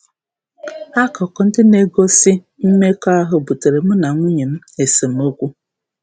Akụkụ ndị na-egosi um mmekọahụ buteere mụ na nwunye m um esemokwu.